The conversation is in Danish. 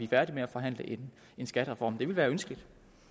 færdige med at forhandle en skattereform det ville være ønskeligt